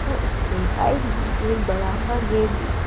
और इसके साइड में एक बड़ा सा गेट भी--